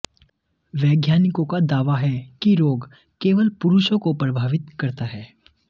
वैज्ञानिकों का दावा है कि रोग केवल पुरुषों को प्रभावित करता है